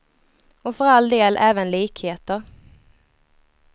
Och för all del, även likheter.